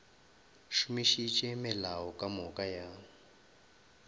šomišitše melao ka moka ya